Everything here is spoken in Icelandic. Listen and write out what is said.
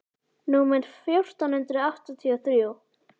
númer fjórtán hundruð áttatíu og þrjú.